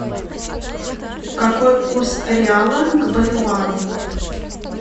какой курс реала к боливару